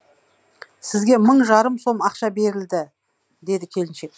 сізге мың жарым сом ақша берілді деді келіншек